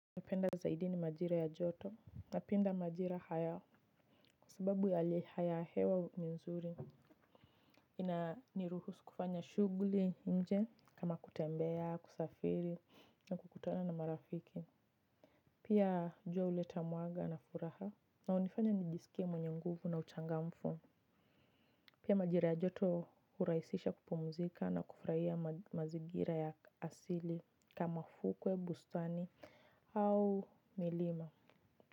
Napenda zaidi ni majira ya joto. Napenda majira haya. Kwa sababu ya hali ya hewa ni nzuri. Ina niruhusu kufanya shugli inje kama kutembea, kusafiri na kukutana na marafiki. Pia jua uleta mwaga na furaha. Na unifanya nijisikie mwenye nguvu na uchangamfu. Pia majira ya joto huraisisha kupumzika na kufurahiia mazigira ya asili kama fukwe, bustani au milima.